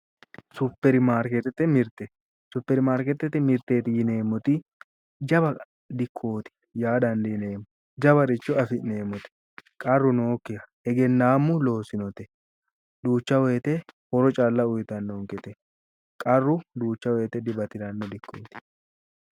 Superimarketete mirte superimarketete mirteeti yineemoti jawa dikooti yaa dandineemo jawaricho afi'neemote qarru nookiha egennaamu loossinote duucha woyite horo calla uyitannonkete qarru duucha woyiite dibatiranno dikkooti